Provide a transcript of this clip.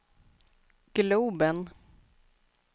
globen